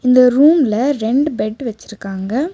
இந்த ரூம்ல ரெண்டு பெட் வெச்சிருக்காங்க.